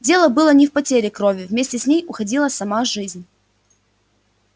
дело было не в потере крови вместе с ней уходила сама жизнь